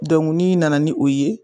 Dɔnku n'i nana ni o ye